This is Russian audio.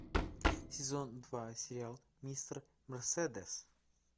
сезон два сериал мистер мерседес